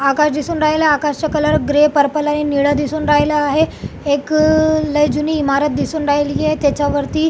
आकाश दिसून राहीलं आकाशच कलर ग्रे परपल आणि नीळं दिसून राहीलं आहे एक लई जुनी इमारत दिसून राहिलिये त्याच्या वरती--